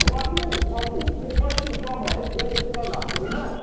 в аду в аду тебе башку сломает даже сатана понимаешь